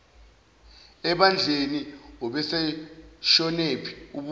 ebandleni ubeseshonephi ubuza